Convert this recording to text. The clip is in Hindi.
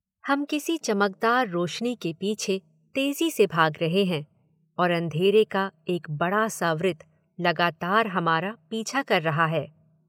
हम किसी चमकदार रोशनी के पीछे तेजी से भाग रहे हैं और अंधेरे का एक बड़ा सा वृत्त लगातार हमारा पीछा कर रहा है।